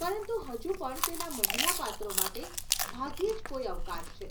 પરંતુ હજુ પણ તેના મહિલા પાત્રો માટે ભાગ્યે જ કોઈ અવકાશ છે.